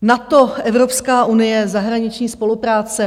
NATO, Evropská unie, zahraniční spolupráce.